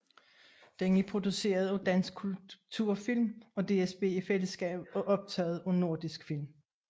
Den er produceret af Dansk Kulturfilm og DSB i fællesskab og optaget af Nordisk Film